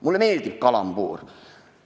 Mulle meeldib kalambuur!